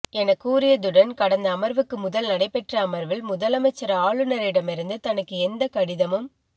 என கூறியதுடன் கடந்த அமர்வு க்கு முதல் நடைபெற்ற அமர்வில் முதலமைச்சர் ஆளுநரிடமிருந்து தனக்கு எந்த கடிதமும்